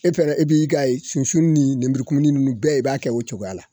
E fɛnɛ i b'i ka sunsun ni nenburu kumuni nunnu bɛɛ i b'a kɛ o cogoya la.